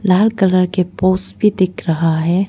लाल colour के पोस भी दिख रहा है।